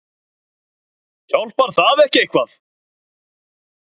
Hjálpar það ekki eitthvað?